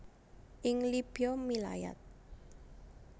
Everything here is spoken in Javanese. Ing Libya milayat